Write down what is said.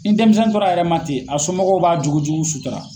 Nin denmisɛnnin tɔra a yɛrɛ ma ten, a somɔgɔw b'a jogo jugu sutara.